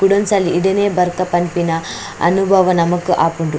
ಕುಡೊನ್ಸಲಿ ಇಡೆನೆ ಬರ್ಕ ಪನ್ಪಿನ ಅನುಭವ ನಮಕ್ ಆಪುಂಡು .